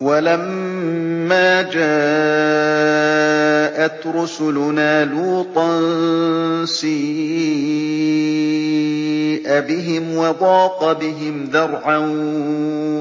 وَلَمَّا جَاءَتْ رُسُلُنَا لُوطًا سِيءَ بِهِمْ وَضَاقَ بِهِمْ ذَرْعًا